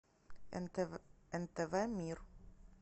нтв мир